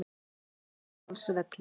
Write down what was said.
Tungudalsvelli